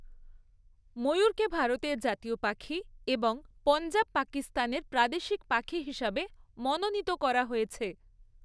ময়ূরকে ভারতের জাতীয় পাখি এবং পঞ্জাব, পাকিস্তানের প্রাদেশিক পাখি হিসাবে মনোনীত করা হয়েছে।